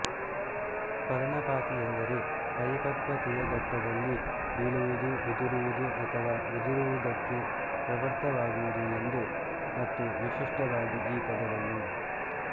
ಪರ್ಣಪಾತಿ ಎಂದರೆ ಪರಿಪಕ್ವತೆಯ ಘಟ್ಟದಲ್ಲಿ ಬೀಳುವುದು ಉದುರುವುದು ಅಥವಾ ಉದುರುವುದಕ್ಕೆ ಪ್ರವೃತ್ತವಾಗುವುದು ಎಂದು ಮತ್ತು ವಿಶಿಷ್ಟವಾಗಿ ಈ ಪದವನ್ನು